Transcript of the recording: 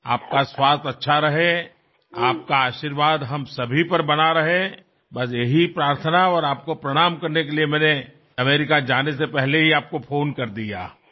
આપનું સ્વાસ્થ્ય સારું રહે આપના આશીર્વાદ અમારા પર રહે બસ એ જ પ્રાર્થના અને આપને પ્રણામ કરવા માટે મેં અમેરિકા જતા પહેલાં જ આપને ફોન કરી દીધો